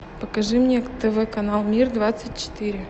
покажи мне тв канал мир двадцать четыре